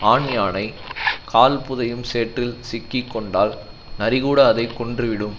ஆண்யானை கால் புதையும் சேற்றில் சிக்கி கொண்டால் நரி கூட அதை கொன்றுவிடும்